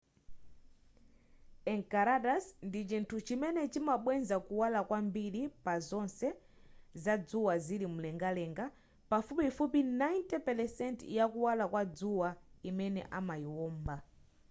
enceladus ndi chinthu chimene chimabweza kuwala kwambiri pazonse zadzuwa zili mumlengalenga pafupifupi 90 pelesenti ya kuwala kwa dzuwa imene imayiwomba